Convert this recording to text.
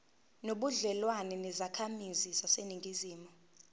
nobudlelwane nezakhamizi zaseningizimu